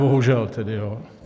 Bohužel tedy jo.